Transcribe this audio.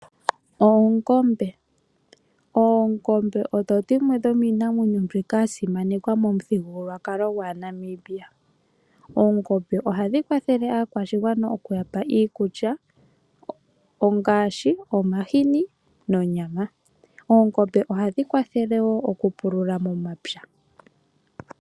Oongombe Oongombe odho dhimwe dhomiinamwenyo mbyoka ya simanekwa momuthigululwakalo gwAanamibia. Oongombe ohadhi kwathele aakwashigwana okuya pa iikulya, ngaashi omahini nonyama. Oongombe ohadhi kwathele wo okupulula momapya.